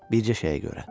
Bircə şeyə görə.